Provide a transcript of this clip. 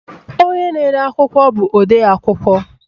Onye na-ede akwụkwọ bụ odeakwụkwọ